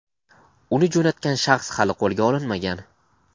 uni jo‘natgan shaxs hali qo‘lga olinmagan.